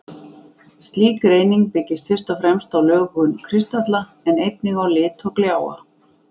Slík greining byggist fyrst og fremst á lögun kristalla, en einnig á lit og gljáa.